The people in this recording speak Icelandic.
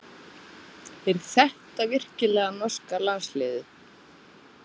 Er þetta virkilega norska landsliðið?